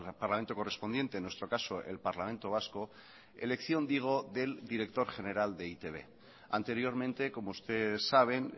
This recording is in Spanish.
parlamento correspondiente en nuestro caso el parlamento vasco elección digo del director general de e i te be anteriormente como usted saben